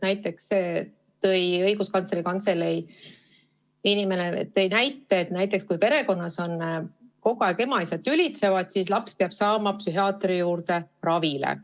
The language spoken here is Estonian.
Näiteks tõi Õiguskantsleri Kantselei esindaja näite, et kui perekonnas ema ja isa kogu aeg tülitsevad, siis laps peab saama psühhiaatri juurde ravile.